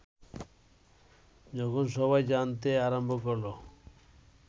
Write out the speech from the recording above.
যখন সবাই জানতে আরম্ভ করল